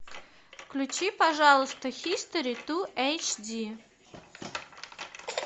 включи пожалуйста хистори ту эйч ди